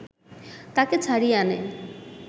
তাকে ছাড়িয়ে আনে